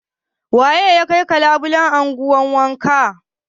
Waye ya yaga labulen gun wankan?